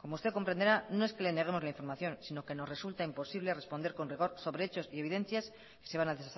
como usted comprenderá no es que le neguemos la información sino que nos resulta imposible responder con rigor sobre hechos y evidencias que se van a